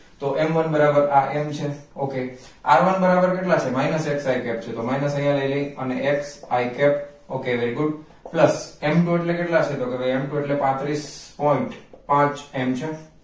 તો m one બરાબર આ m છે okay one બરાબર કેટલા છે minus xi cap છે તો minus આયા લઈ લયે અને xi cap okay very good plus m two એટલે કેટલા છે તો કે કે m two એટલે પાંત્રિસ point પાંચ m છે